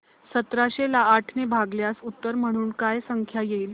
सतराशे ला आठ ने भागल्यास उत्तर म्हणून काय संख्या येईल